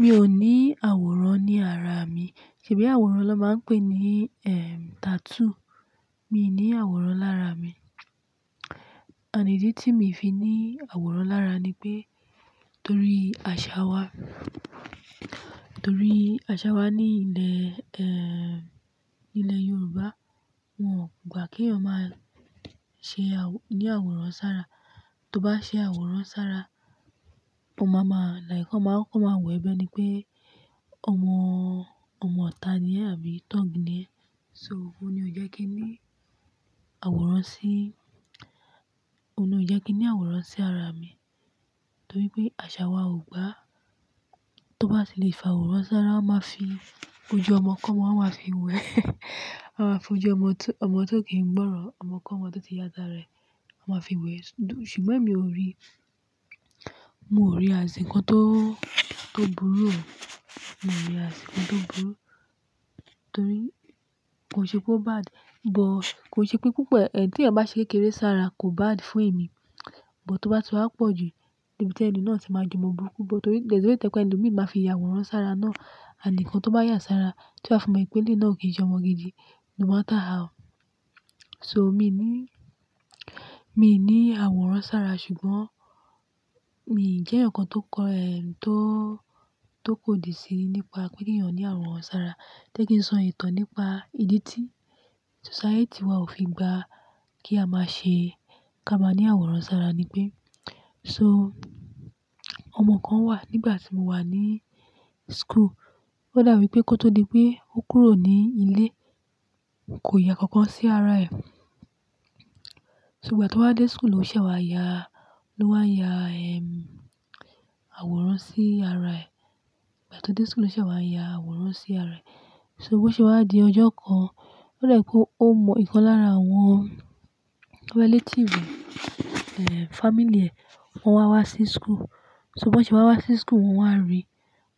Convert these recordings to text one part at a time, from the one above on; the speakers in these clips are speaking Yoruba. Mi ò ní àwòrán ní ara mi. Ṣe bí àwòrán ló máa ń pè ní, ehm, tattoo. Mi ní àwòrán lára mi. Ànd ídí tí mi fi ní àwòrán lára ni pé torí àṣà wa, torí àṣà wa ní ilẹ̀, ehn, nílẹ̀ Yoruba, wọ́n ò gbà kèèyàn máa ṣe àwo-- ní àwòrán sára. Tó bá ṣe àwòrán sára, won máa ma-- like wọ́n máa koko ma wo ẹ bẹ́ẹ́ni pé ọmọ, ọmọ ọ̀tá ni ẹ́ àbí tọ́ọ̀gí ni ẹ́. So, òun ni ò jẹ́ kí n ní àwòrán sí, òun ni ò jẹ́ kí n ní àwòrán sí ara mi torí pé àṣà wa ò gbà. Tó bá ti lè fa àwòrán sára, wọ́n máa fi ojú ọmọkọmọ, wọ́n máa fi wẹ̀. Wọ́n máa fojú ọmọ tó, ọmọ tó kì í gbọ́rọ̀, ọmọkọmọ tó ti ya ta rẹ̀, wọ́n máa fi wẹ̀. Ṣùgbọ́n èmi ò rí, mo ò rí as nnkan tó, tó burú, mo rí as nnkan tó burú torí kò ṣe pé ó bad, but kò ṣe pé púpọ̀. Ẹ̀hn tẹ̀yan bá ṣe kékeré sára kò bad fún èmi, but tó bá ti wá pọ̀ jù ni bí i tẹni náà ti máa di mo burú kú, but tori there's a way tẹ́ je pe ẹlo mi máa fi ya àwòrán sára náà. And nnkan tó bá yà sára, tí wa fi mo wipé eléyi náà kì í ṣe ọmọ gidi no matter how. So, mi ní, mi ní àwòrán sára ṣùgbọ́n mi ò jẹ́ ǹkan tó kọ, tó, tó kòdì síi nípa pé kí èèyàn ní àwòrán sára. Jẹ́ kí n sọ ìtàn nípa ìdí tí society wa ò fi gbà kí a máa ṣe ká máa ní àwòrán sára ni pé so ọmọ kan wà nígbà tí mo wà ní school. Ó dàbi pé kó tó di pé ó kúrò ní ilé kò ya kankan sí ara ẹ̀. So gba tó wá dé school ló ṣè wá ya, ló wá ya, ehm, àwòrán sí ara ẹ̀. Gba tó dé school ló ṣè wá ya àwòrán sí ara ẹ̀. So bó ṣe wá di ọjọ́ kan, ó dà ẹ́ pé ó mọ ǹkan lára àwọn relative rẹ̀, ehn, family ẹ̀ wọ́n wá wá sí school. So bó ṣe wá wá sí school wọ́n wá rí,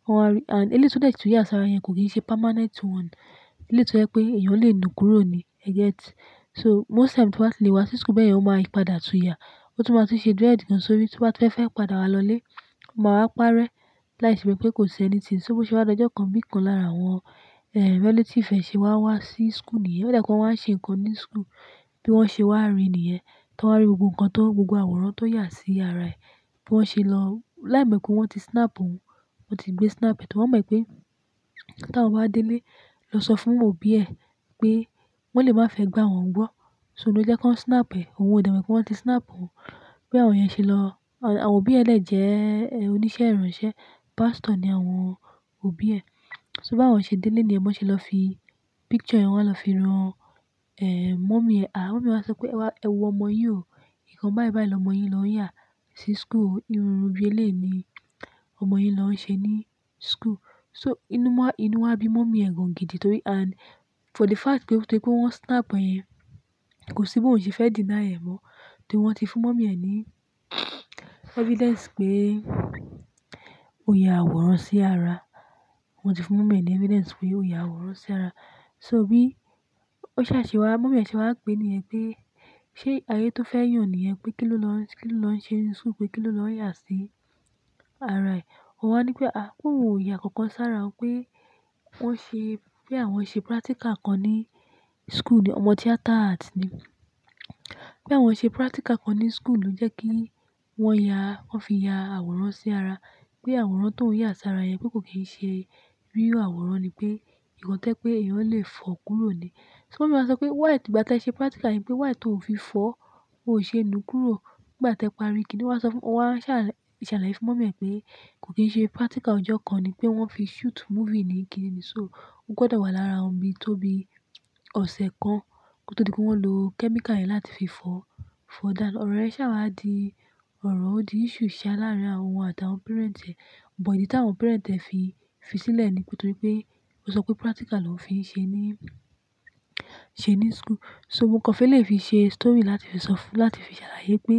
wọ́n wá rí and eléyi tó dẹ́ tun ya sára yẹn kò kí í ṣe permanent one. Eléyi tó jẹ́ pé èèyàn lè nu kúrò ní, e get. So most times tó bá ti lè wá sí school bẹ́ẹ̀ yen ò máa ń padà tú ya. Ó tún máa tún ṣe dread gan sórí. Tó bá ti fẹ́ fẹ́ padà wá lọlé, o máa wá parẹ́ láìṣe pé pé kò ṣe anything. So bó ṣe wá di ọjọ́ kan bí ǹkan lára àwọ́n, ehn, relative ẹ̀ ṣe wá wá sí school nìyẹn. Ó dà pé wọ́n ṣe ǹkan ní school bí wọ́n ṣe wá rí nìyẹn. Tí wọ́n rí gbogbo ǹkan tó, gbogbo àwòrán tó ya sí ara ẹ̀ bí wọ́n ṣe lọ-- láì mo pe wọ́n ti snap òun, wọ́n ti gbé snap rẹ̀ torí wọ́n mọ̀ pé ta won bá délé lọ sọ fún òbí ẹ̀ pé wọ́n lè má fẹ́ gba wọn gbọ́. So ló jẹ́ kọ́n snap ẹ̀. Ohun ò de mo pé wọ́n ti snap òun. Bí àwọn yẹn ṣe lọ-- àwọn òbí ẹ̀ lẹ́ jẹ́ oníṣẹ́ ìránṣẹ́, pastor ni àwọn òbí ẹ̀. So bá wọ́n ṣe délé ni yẹ́n, bọ́n ṣe lọ fi picture yẹn wá lọ fi ran, ehn, mummy ẹ̀. À, mummy wa sọ pé, "Ẹ wọ ọmọ yín o, nǹkan báyìí báyìí lọmọ yín ló ń yà sí school. Irunrun biẹléyi ni ọmọ yín ló ń ṣe ní school." So inú wá, inú wá bí mummy ẹ̀ gùn gidi torí and for the fact pé torí pé wọ́n snap ẹ́ yẹn kò sí bí òun ṣe fẹ́ deny ẹ̀ mọ́. Torí wọ́n ti fún mummy ẹ̀ ní evidence pé ó ya àwòrán sí ara. Wọn ti fún mummy ẹ̀ ní evidence pé ó ya àwòrán sí ara. So bí ó ṣàṣewà, mummy ẹ̀ ṣe wà pé ní yẹ̀n pé ṣé ayé tó fẹ́ yàn nìyẹn pé kí ló lọ, kí ló lọ ṣe ní school pé kí ló lọ yà sí ara ẹ̀. Ó wá ní pé, "À, pe oun o yà kankan sára o pé wọ́n ṣe, pé àwọn ṣe practical kan ní school." Òmọ Theatre Arts ni. "Pé àwọn ṣe practical kan ní school ló jẹ́ kí wọ́n ya, wọ́n fi ya àwòrán sí ara. Pé àwòrán tóun ń yà sára yẹn pé kò kí í ṣe real àwòrán ni pé nǹkan tẹ́ je pé èèyàn lè fọ̀ kúrò ni." So mummy wa sọ pé why ìgbà te ṣe practical yẹn pé why tò fi fọ́, ò ṣe nu kúrò. Nígbà tẹ pari kí ni ọ́ wa sọ fún-- ó wá ṣàlàyé fún mummy ẹ̀ pé kò kí í ṣe practical ọjọ́ kan ni pé wọ́n fi shoot movie ni, kí ni ni. So ó gbọ́dọ̀ wà lára wọn bí i tó bí i ọ̀sẹ̀ kan ko to di pé wọ́n lo chemical yẹn láti fi fọ, fọ dánu. Ọ̀rọ̀ rẹ ṣàwàdí ọ̀rọ̀, ó di issue ṣe láàárín àwọn òun àti àwọn parent ẹ́. But ìdí tàwọn parent ẹ fi, fi sílẹ̀ ní pé torí pé ó sọ pé practical ló ń fi ṣe ní, ṣe ní school. So ǹkan fẹ́ lè yi fi ṣe story láti fi sọ fún, láti fi ṣàlàyé pé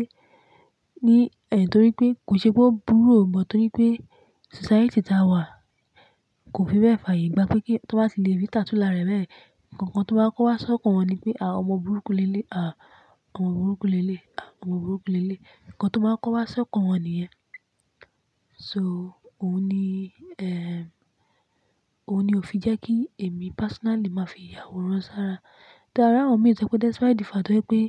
ní ẹ̀ torí pé kò ṣe pé ó burú ò mọ̀ torí pé society tà wà kò fi bẹ́ẹ̀ fààyè gbà pé kí tó bá ti lè rí tattoo lára ẹ̀ bẹ́ẹ̀, kankan tó máa ń kó wá sọ́kọ̀ wọn ni pé, "À, ọmọ burúkú lééléyi, à ọmọ burúkú lééléyi, à ọmọ burúkú lééléyi." Ǹkan tó máa ń kó wá sọ́kọ̀ wọn nìyẹn. So òun ni, ehn, òun ni ò fi jẹ́ kí èmi personally máa fi ya àwòrán sára. Ta rawon mi, to se pé despite the fact pé.